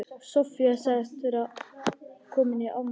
Soffía sagðist vera komin í afmælið hennar